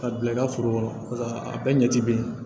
Ka bila i ka foro kɔnɔ a bɛɛ ɲɛ ti be yen